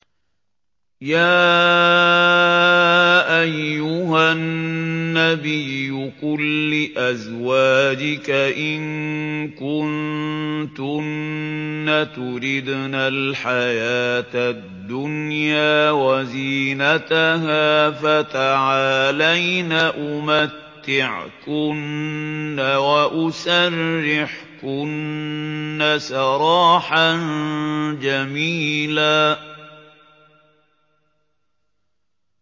يَا أَيُّهَا النَّبِيُّ قُل لِّأَزْوَاجِكَ إِن كُنتُنَّ تُرِدْنَ الْحَيَاةَ الدُّنْيَا وَزِينَتَهَا فَتَعَالَيْنَ أُمَتِّعْكُنَّ وَأُسَرِّحْكُنَّ سَرَاحًا جَمِيلًا